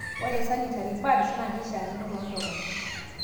Ore sanitary pads naa keisiakino toontomonok